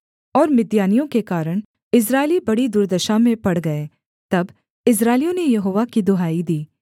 और मिद्यानियों के कारण इस्राएली बड़ी दुर्दशा में पड़ गए तब इस्राएलियों ने यहोवा की दुहाई दी